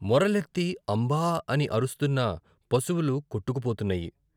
మొరలెత్తి అంబా అని అరుస్తున్న పశువులు కొట్టుకుపోతున్నాయి.